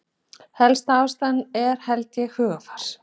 Helsta ástæðan er held ég hugarfar.